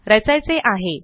रचायचे आहे